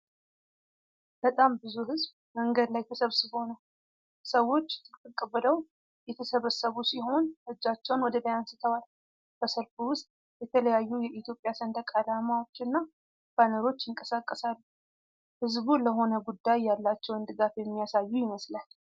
በጣም ብዙ ሕዝብ መንገድ ላይ ተሰብስቦ ነው። ሰዎች ጥቅጥቅ ብለው የተሰበሰቡ ሲሆን እጃቸውን ወደ ላይ አንስተዋል። በሰልፉ ውስጥ የተለያዩ የኢትዮጵያ ሰንደቅ ዓላማዎችና ባነሮች ይንቀሳቀሳሉ። ሕዝቡ ለሆነ ጉዳይ ያላቸውን ድጋፍ የሚያሳዩ ይመስላል።